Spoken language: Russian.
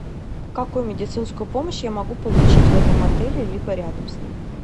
какую медицинскую помощь я могу получить в этом отеле либо рядом с ним